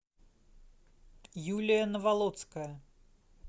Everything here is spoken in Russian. юлия наволоцкая